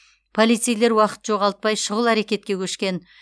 полицейлер уақыт жоғалтпай шұғыл әрекетке көшкен